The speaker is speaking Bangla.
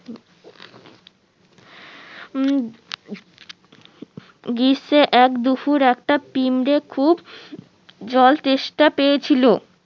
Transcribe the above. উম এক দুফুর একটা পিমড়ে খুব জল তেষ্টা পেয়েছিলো